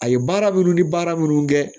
A ye baara minnu ni baara minnu kɛ